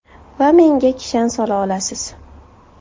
Va menga kishan sola olasiz.